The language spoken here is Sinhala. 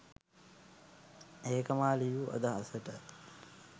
ඒක මා ලියූ අදහසට.